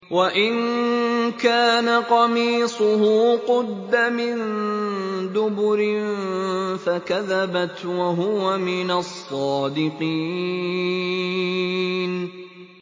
وَإِن كَانَ قَمِيصُهُ قُدَّ مِن دُبُرٍ فَكَذَبَتْ وَهُوَ مِنَ الصَّادِقِينَ